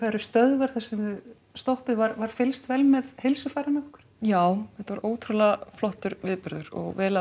eru stöðvar þar sem þið stoppið var var fylgst vel með heilsufarinu ykkar já þetta var ótrúlega flottur viðburður og vel að